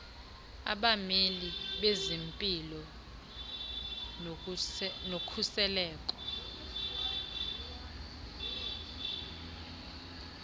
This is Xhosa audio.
abameli bezempilo nokhuseleko